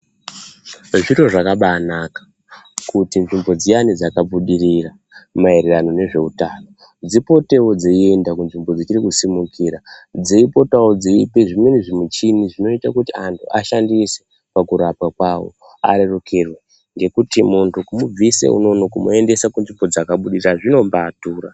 Zviro zvakabanaka kuti nzvimbo dziyana dzakabudirira maererano nezveutano dzipotewo dzeienda kunzvimbo dzichiri kusimukira dzeipotawo dzeipe zvimweni zvimuchini zvinoita antu ashandise pakurapa kwawo arerukirwe ngekuti muntu kumubvis unonono kumuendese kunzvimbo dzakabudirira zvinombadhura.